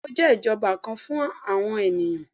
bẹẹni, o jẹ ijọba kan fun awọn eniyan